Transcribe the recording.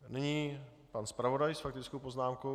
Nyní pan zpravodaj s faktickou poznámkou.